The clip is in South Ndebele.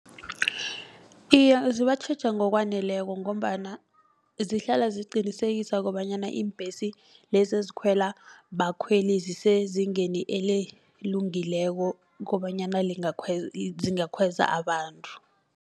Iye zibatjheja ngokwaneleko ngombana zihlala ziqinisekisa kobanyana iimbhesi lezi ezikhwela bakhweli zisezingeni elelungileko kobanyana zingakhweza abantu.